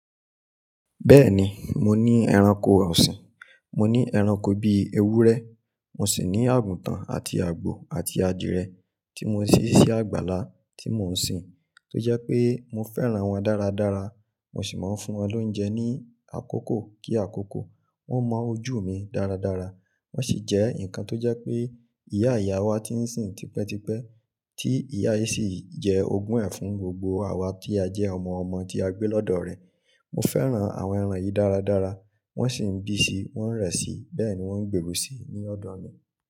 Bẹ́ẹ̀ni, mo ní ẹranko ọ̀sìn. Mo ní ẹranko bíi ewúrẹ́, mo sì ní àgùntàn àti àgbò àti adìẹ tí mo ṣí sí àgbàlá tí mò ń sìn. Tó jẹ́ pé mo fẹ́ran wọn dára dára, mo sì máa ń fún wọn lóúnjẹ ní àkókò kí àkókò, wọ́n mọ ojú mi dára dára. Wọ́n sì jẹ́ ǹkan tó jẹ́ pé ìyá ìyá wa ti ń sìn típẹ́ típẹ́, tí ìyá yìí sì jẹ́ ogún ẹ̀ fún gbogbo àwa tí a jẹ́ ọmọ ọmọ tí a gbé lọ́dọ̀ rẹ̀. Mo fẹ́ran àwọn ẹran yìí dára dára, wọ́n sì ń bí sí, wọ́n ń rẹ́ sí, bẹ́ẹ̀ ni wọ́n ń gbèrú si ní ọ̀dọ̀ mi.